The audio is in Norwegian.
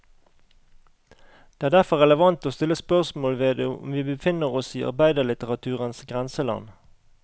Det er derfor relevant å stille spørsmål ved om vi befinner oss i arbeiderlitteraturens grenseland.